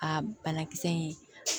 Aa banakisɛ in